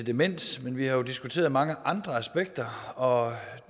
demens men vi har jo diskuteret mange andre aspekter og